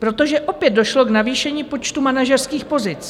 Protože opět došlo k navýšení počtu manažerských pozic.